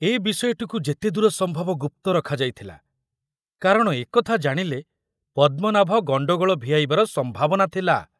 ଏ ବିଷୟଟିକୁ ଯେତେଦୂର ସମ୍ଭବ ଗୁପ୍ତ ରଖାଯାଇଥିଲା, କାରଣ ଏ କଥା ଜାଣିଲେ ପଦ୍ମନାଭ ଗଣ୍ଡଗୋଳ ଭିଆଇବାର ସମ୍ଭାବନା ଥିଲା।